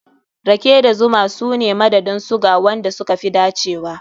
Rake da zuma su ne madadin suga wanda suka fi dacewa.